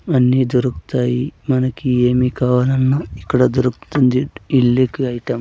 అన్నీ దొరుక్తాయి మనకి ఏమి కావాలన్నా ఇక్కడ దొరుక్తుంది ఇల్లీగల్ ఐటం --